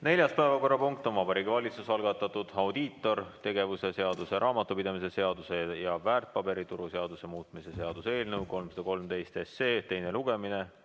Neljas päevakorrapunkt on Vabariigi Valitsuse algatatud audiitortegevuse seaduse, raamatupidamise seaduse ja väärtpaberituru seaduse muutmise seaduse eelnõu 313 teine lugemine.